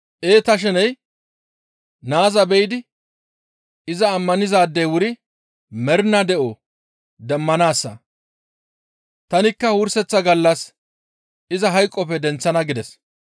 Ee ta sheney naaza be7idi iza ammanizaadey wuri mernaa de7o demmanaassa. Tanikka wurseththa gallas iza hayqoppe denththana» gides.